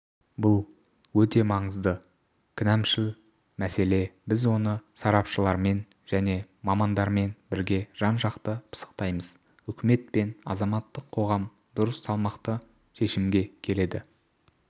бұл өте маңызды кінәмшіл мәселе біз оны сарапшылармен және мамандармен бірге жан-жақты пысықтаймыз үкімет пен азаматтық қоғам дұрыс салмақты шешімге келеді